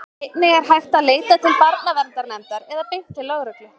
Einnig er hægt að leita til barnaverndarnefndar eða beint til lögreglu.